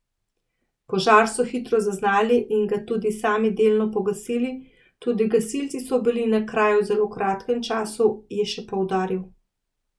Požar so hitro zaznali in ga tudi sami delno pogasili, tudi gasilci so bili na kraju v zelo kratkem času, je še poudaril.